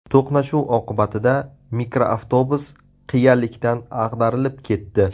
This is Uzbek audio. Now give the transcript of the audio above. To‘qnashuv oqibatida mikroavtobus qiyalikdan ag‘darilib ketdi.